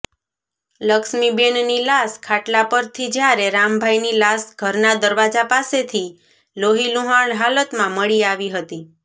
લક્ષ્મીબેનની લાશ ખાટલા પરથી જ્યારે રામભાઈની લાશ ઘરના દરવાજા પાસેથી લોહીલુહાણ હાલતમાં મળી આવી હતી